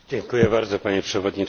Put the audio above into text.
Panie Przewodniczący!